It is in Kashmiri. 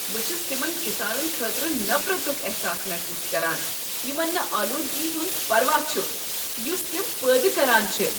بہٕ چھس تمن کسانن خٲطرٕ نفرتک احساس محسوس کران یمن نہٕ آلودگی ہُنٛد پروا چھ یس تم پٲدٕ کران چھ۔